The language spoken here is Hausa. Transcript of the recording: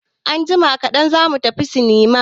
Anjima kaɗan za mu tafi sinima.